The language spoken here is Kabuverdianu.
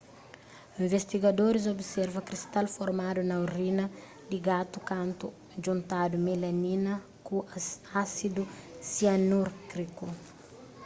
investigadoris observa kristal formadu na orina di gatu kantu djuntadu melamina ku ásidu sianúriku